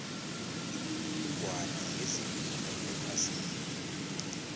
imininingwana yezepilo ephasini